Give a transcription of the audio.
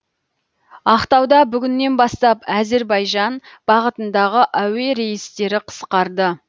ақтауда бүгіннен бастап әзербайжан бағытындағы әуе рейстері қысқарды